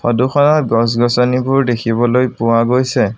Photo খনত গছ-গছনিবোৰ দেখিবলৈ পোৱা গৈছে।